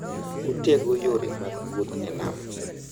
Otego yore mag wuoth e nam.